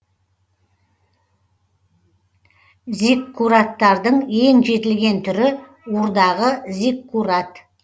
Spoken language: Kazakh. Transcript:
зиккураттардың ең жетілген түрі урдағы зиккурат